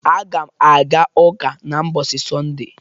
Aga m aga Ụka ​​na mbọsi Sọnde